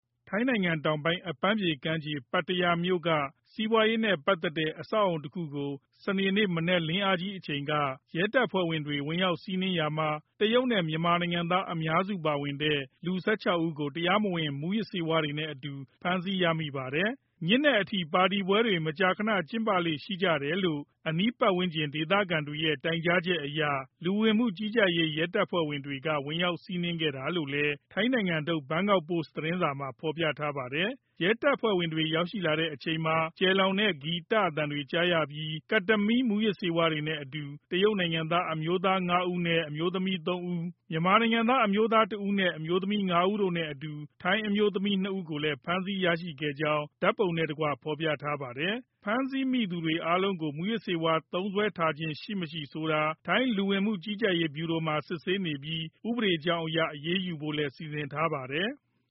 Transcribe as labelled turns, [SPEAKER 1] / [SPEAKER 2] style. [SPEAKER 1] ထိုင်းနိုင်ငံတောင်ပိုင်း အပန်းဖြေကမ်းခြေ ပတ္တယားမြို့က စီးပွားရေးနဲ့ပတ်သက်တဲ့ အဆောက်အဦတခုကို စနေနေ့ မနက်လင်းခါနီးအချိန် ရဲတပ်ဖွဲ့က ဝင်ရောက်စီးနင်းခဲ့ရာမှာ တရုတ်နဲ့ မြန်မာနိုင်ငံသား အများစုပါဝင်တဲ့ လူ ၁၆ ဦးကို တရားမဝင် မူးယစ်ဆေးဝါးတွေနဲ့အတူ ဖမ်းဆီးရမိပါတယ်။ ညဉ့်နက်အထိ ပါတီပွဲတွေ မကြာခဏ ကျင်းပလေ့ ရှိကြတယ်လို့ အနီးပတ်ဝန်းကျင်က ဒေသခံတွေရဲ့ တိုင်ကြားချက်အရ လူဝင်မှုကြီးကြပ်ရေး ရဲတပ်ဖွဲ့ဝင်တွေက ဝင်ရောက် စီးနင်းခဲ့တာလို့လည်း ထိုင်းနိုင်ငံထုတ် ဘန်ကောက်ပို့စ်သတင်းစာက ဖော်ပြပါတယ်။ ရဲတပ်ဖွဲ့ဝင်တွေ ရောက်ရှိတဲ့အချိန်မှာ ကျယ်လောင်တဲ့ ဂီတသံတွေ ကြားရပြီး Ketamine မူးယစ်ဆေးဝါးတွေနဲ့အတူ တရုတ်နိုင်ငံသား အမျိုးသား ၅ ဦးနဲ့ အမျိုးသမီး ၃ ဦး၊ မြန်မာနိုင်ငံသား အမျိုးသားတဦးနဲ့ အမျိုးသမီး ၅ ဦးတို့နဲ့အတူ ထိုင်းအမျိုးသမီး ၂ ဦးကိုလည်း ဖမ်းဆီးမိခဲ့ကြောင်း ဓာတ်ပုံနဲ့တကွ ဖော်ပြခဲ့တာပါ။ ဖမ်းဆီးမိတဲ့သူအားလုံးကို မူးယစ်ဆေးဝါး သုံးစွဲထားခြင်းရှိမရှိ ဆိုတာကို ထိုင်းလူဝင်မှုကြီးကြပ်ရေးဗျူရိုမှာ စစ်ဆေးနေပြီး ဥပဒေကြောင်းအရ အရေးယူဖို့လည်း စီစဉ်ထားပါတယ်။